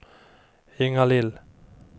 Ingalill